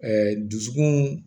Ɛɛ dusukun